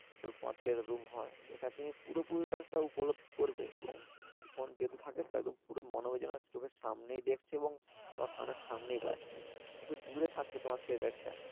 যেটা তোমার Theatre room হয় যেখানে তুমি পুরোপুরিটা উপলভব করবে এবং Head Phone যদি থেকে তবে মনে ওই যেন পরও মনে হবে যেন চোখের সামনেই দেখছো এবং তোমার কানের সামনেই বাজছে দূরে থাকলে একটা।